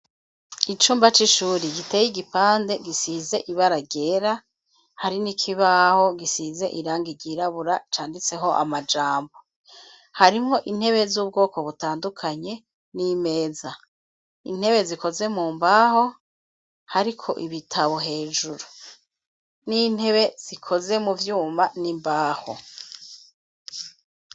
Icumba c'ishuri, giteye igipande, gisize ibara ryera; hari n'ikibaho gisize irangi ryirabura, canditseho amajambo; harimwo intebe, z'ubwoko butandukanye, n'imeza; intebe, zikoze mu mbaho, hariko ibitabo hejuru, n'intebe zikoze mu vyuma n'imbaho.